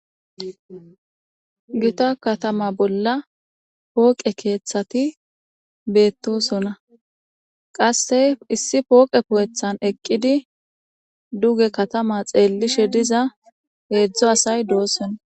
Gitta katama bolla pooqe kethati betosona qase issi pooqe keththan eqidi duge katama xelishe diza heezu asay do'sona